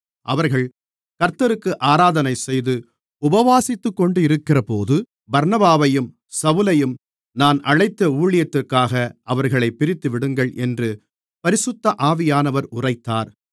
அவர்கள் கர்த்தருக்கு ஆராதனைசெய்து உபவாசித்துக்கொண்டிருக்கிறபோது பர்னபாவையும் சவுலையும் நான் அழைத்த ஊழியத்துக்காக அவர்களைப் பிரித்துவிடுங்கள் என்று பரிசுத்த ஆவியானவர் உரைத்தார்